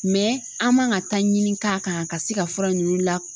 an man ŋa taɲini k'a kan ka se ka fura ninnu la